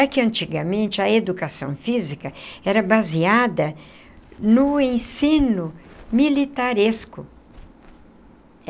É que, antigamente, a educação física era baseada no ensino militaresco.